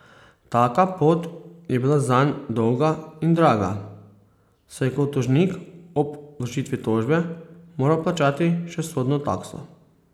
Taka pot je bila zanj dolga in draga, saj je kot tožnik ob vložitvi tožbe moral plačati še sodno takso.